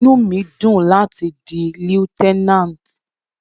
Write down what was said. Inú mi dùn láti di Lieutenant.